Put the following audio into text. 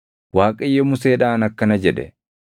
Waaqayyo Museedhaan akkana jedhe;